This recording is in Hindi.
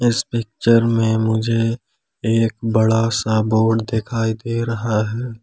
इस पिक्चर में मुझे एक बड़ा सा बोर्ड दिखाई दे रहा है।